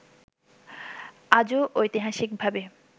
আজো ঐতিহাসিকভাবে